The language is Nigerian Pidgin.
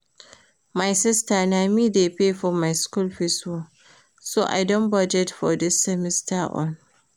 My sister na me dey pay for my school fees oo so I don budget for dis semester own